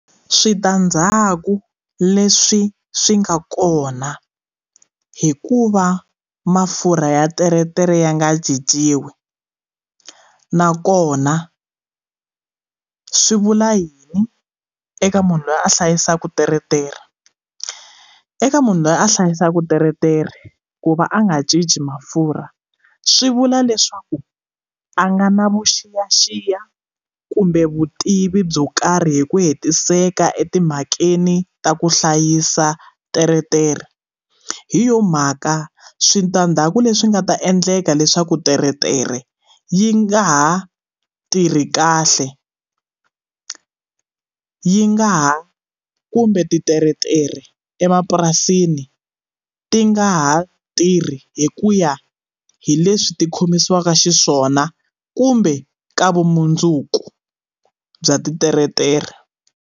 Switandzhaku leswi swi nga kona hikuva mafurha ya teretere ya nga cinciwi nakona swi vula yini eka munhu loyi a hlayisaka teretere eka munhu loyi a hlayisaka teretere ku va a nga cinci mafurha swi vula leswaku a nga na vuxiyaxiya kumbe vutivi byo karhi hi ku hetiseka etimhakeni ta ku hlayisa teretere hi yona mhaka switandzhaku leswi nga ta endleka leswaku teretere yi nga ha tirhi kahle yi nga ha kumbe titeretere emapurasini ti nga ha tirhi hi ku ya hi leswi ti khomisiwaka xiswona kumbe ka vumundzuku bya titeretere.